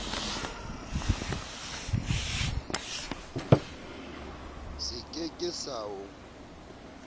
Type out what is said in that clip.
se ke ke sa o